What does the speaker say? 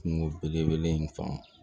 Kungo bele bele in fan